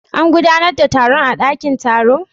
An gudanar da taron a dakin taro?